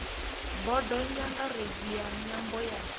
bodo nyangaredzi ya nyambo ya